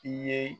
I ye